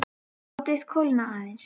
Látið kólna aðeins.